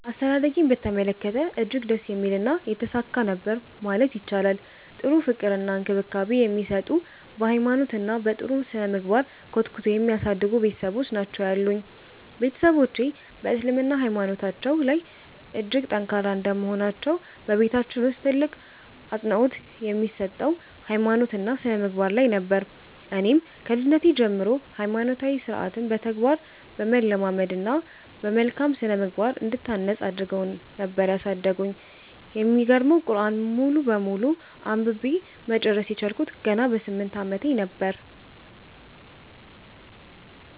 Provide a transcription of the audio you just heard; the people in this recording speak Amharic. አስተዳደጌን በተመለከተ እጅግ ደስ የሚልና የተሳካ ነበር ማለት ይቻላል። ጥሩ ፍቅር እና እንክብካቤ የሚሰጡ፤ በ ሃይማኖት እና በ ጥሩ ስነምግባር ኮትኩተው የሚያሳድጉ ቤትሰቦች ናቸው ያሉኝ። ቤትሰቦቼ በ እስልምና ሃይማኖታቸው ላይ እጅግ ጠንካራ እንደመሆናቸው በቤታችን ውስጥ ትልቅ አፅንኦት የሚሰጠው ሃይማኖት እና ስነምግባር ላይ ነበር። እኔንም ከልጅነቴ ጀምሮ ሃይማኖታዊ ስርዓትን በተግባር በማለማመድ እና በመልካም ስነምግባር እንድታነፅ አድረገው ነበር ያሳደጉኝ። የሚገርመው ቁርዐንን ሙሉ በሙሉ አንብቤ መጨረስ የቻልኩት ገና በ 8 አመቴ ነበር።